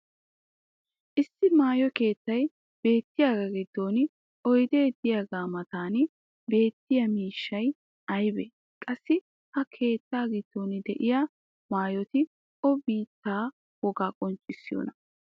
issi maayo keettay beettiyaagaa giddon oydee diyaagaa matan beettiya miishshay aybee? qassi ha keettaa giddon diya maayoti o biittaa wogaa qonccissiyoonaa?